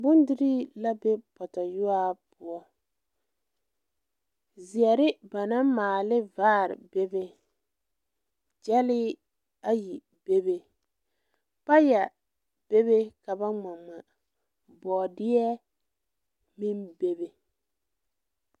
Bondirii la be pɔtɔyuwaa poɔ zeɛre ba naŋ maale ne vaare bebe gyɛlee ayi bebe payɛ bebe ka ba ngma ngma bɔɔdeɛ meŋ bebe.